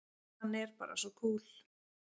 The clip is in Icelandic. Hann er bara svo kúl!